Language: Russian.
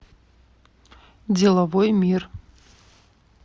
деловой мир